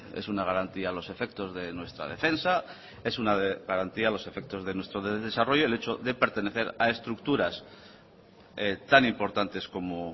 es una garantía a los efectos de nuestra defensa es una garantía a los efectos de nuestro desarrollo el hecho de pertenecer a estructuras tan importantes como